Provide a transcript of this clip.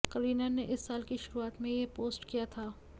करीना ने इस साल की शुरुआत में यह पोस्ट किया था